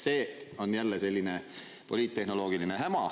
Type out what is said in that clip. See on jälle selline poliittehnoloogiline häma.